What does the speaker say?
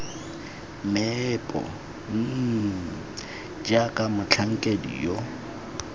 meepo mmm jaaka motlhankedi yo